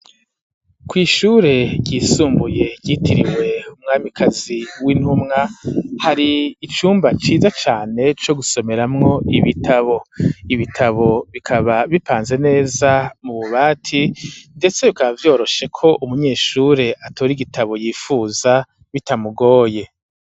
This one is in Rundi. Kw'ishure ryisumbuye yitiriwe umwami kazi w'intumwa hari icumba ciza cane co gusomeramwo ibitabo ibitabo bikaba bipanze neza mu bubati ndetse bikaba vyoroshe ko umunyeshure atora igitabo yifuza bitamugoye.